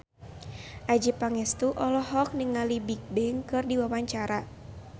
Adjie Pangestu olohok ningali Bigbang keur diwawancara